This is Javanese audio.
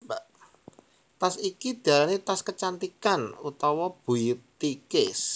Tas iki diarani tas kecantikan utawa beauty case